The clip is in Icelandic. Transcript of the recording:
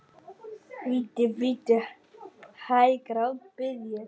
Bíddu, bíddu hæg, grátbið ég.